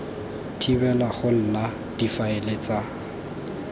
thibela go nna difaele tsa